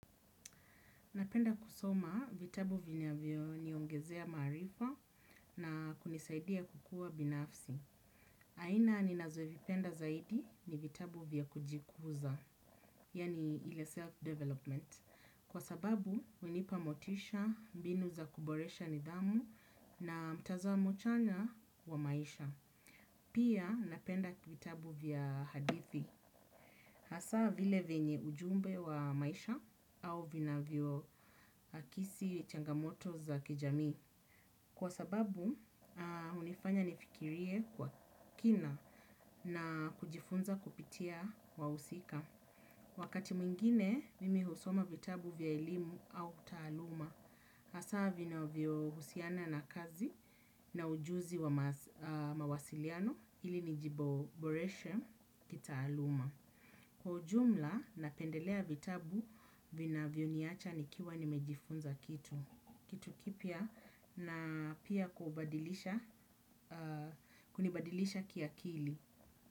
Napenda kusoma vitabu vinavyoniongezea maarifa na kunisaidia kukua binafsi. Aina ninazovipenda zaidi ni vitabu vya kujikuza, yani ile self-development. Kwa sababu, hunipa motisha, mbinu za kuboresha nidhamu na mtazamo chanya wa maisha. Pia napenda vitabu vya hadithi. Hasa vile venye ujumbe wa maisha au vinavyo akisi changamoto za kijamii. Kwa sababu, hunifanya nifikirie kwa kina na kujifunza kupitia wahusika. Wakati mwingine, mimi husoma vitabu vya elimu au taaluma. Hasa vinavyo husiana na kazi na ujuzi wa mawasiliano ili nijiboboreshe kitaaluma. Kwa jumla napendelea vitabu vinavyoniacha nikiwa nimejifunza kitu kitu kipya na pia kubadilisha kunibadilisha kiakili.